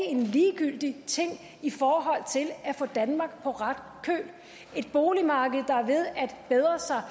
en ligegyldig ting i forhold til at få danmark på ret køl et boligmarked der er ved at bedre sig